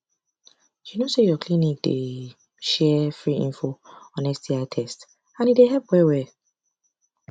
you know say ur clinic dey share free info on sti test and e dey help well well